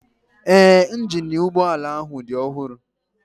Ee, injini ụgbọala ahụ dị ọhụrụ